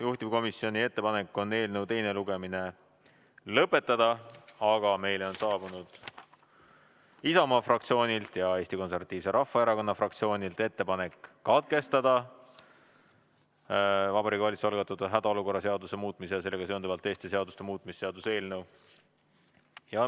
Juhtivkomisjoni ettepanek on eelnõu teine lugemine lõpetada, aga meile on saabunud Isamaa fraktsioonilt ja Eesti Konservatiivse Rahvaerakonna fraktsioonilt ettepanek katkestada Vabariigi Valitsuse algatatud hädaolukorra seaduse muutmise ja sellega seonduvalt teiste seaduste muutmise seaduse eelnõu.